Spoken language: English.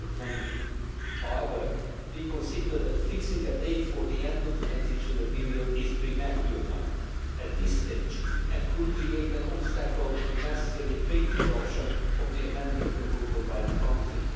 20. However, we consider that fixing a date for the end of the transitional period is premature at this stage and could create an obstacle to the necessary quick adoption of the amending proposal by the Council.